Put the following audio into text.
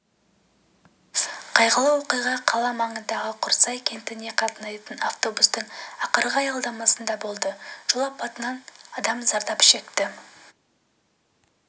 қайғылы оқиға қала маңындағы құрсай кентіне қатынайтын автобустың ақырғы аялдамасында болды жол апатынан адам зардап шекті